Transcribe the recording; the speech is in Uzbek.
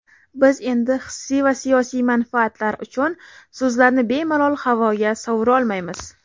Biz endi hissiy va siyosiy manfaatlar uchun so‘zlarni bemalol havoga sovurolmaymiz.